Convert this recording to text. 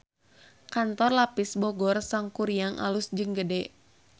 Kantor Lapis Bogor Sangkuriang alus jeung gede